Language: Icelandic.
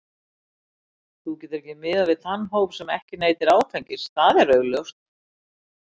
Þú getur ekki miðað við þann hóp sem ekki neytir áfengis, það er augljóst.